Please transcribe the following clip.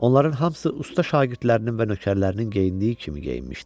Onların hamısı usta şagirdlərinin və nökərlərinin geyindiyi kimi geyinmişdi.